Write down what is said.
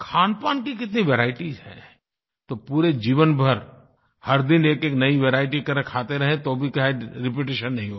खानपान की कितनी वेराइटीज हैं पूरे जीवन भर हर दिन एकएक नई वेरिएटी अगर खाते रहें तो भी रिपिटिशन नहीं होगा